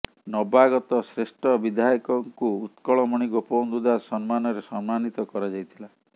ନବାଗତ ଶ୍ରେଷ୍ଠ ବିଧାୟକଙ୍କୁ ଉତ୍କଳମଣି ଗୋପବନ୍ଧୁ ଦାସ ସମ୍ମାନରେ ସମ୍ମନୀତ କରାଯାଇଥିଲା